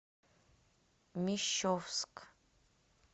мещовск